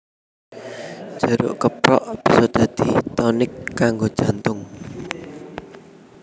Jeruk keprok bisa dadi tonik kanggo jantung